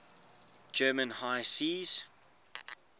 german high seas